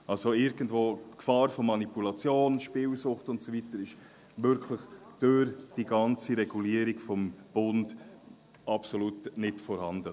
Also: Die Gefahr von Manipulation, Spielsucht und so weiter ist wirklich durch die ganze Regulierung durch den Bund absolut nicht vorhanden.